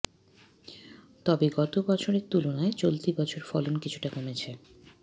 তবে গত বছরের তুলনায় চলতি বছর ফলন কিছুটা কমেছে